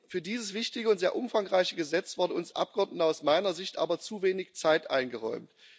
Für dieses wichtige und sehr umfangreiche Gesetz wurde uns Abgeordneten aus meiner Sicht aber zu wenig Zeit eingeräumt.